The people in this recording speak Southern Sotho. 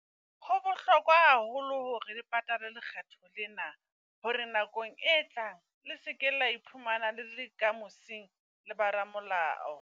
Ho bohlokwa haholo hore le patale lekgetho lena. Hore nakong e tlang le se ke la iphumana le le ka mosing le ba ramolao.